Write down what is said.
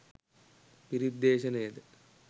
පිරිත් දේශනයද